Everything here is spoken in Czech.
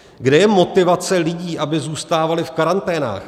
Kde je motivace lidí, aby zůstávali v karanténách?